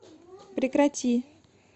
прекрати